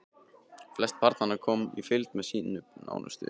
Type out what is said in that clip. Flest barnanna komu í fylgd með sínum nánustu.